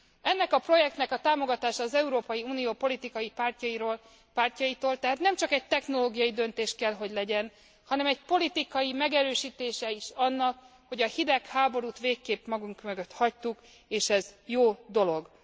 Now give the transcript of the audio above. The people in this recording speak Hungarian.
Ennek a projektnek a támogatása az Európai Unió politikai pártjaitól érkezik, tehát nem csak egy technológiai döntés kell, hogy legyen, hanem egy politikai megerősítése is annak, hogy a hidegháborút végképp magunk mögött hagytuk és ez jó dolog.